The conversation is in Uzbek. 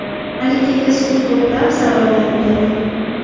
Malikaga sud ko‘plab savollar berdi.